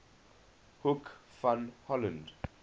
hoek van holland